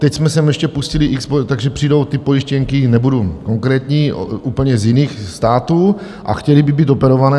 Teď jsme sem ještě pustili x , takže přijdou ty pojištěnky, nebudu konkrétní, úplně z jiných států a chtěly by být operované.